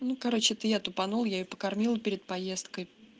ну короче это я тупанул я её покормила перед поездкой